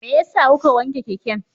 Me yasa kuka wanke keken?